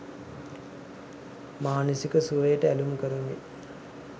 මානසික සුවයට ඇලුම් කරමින්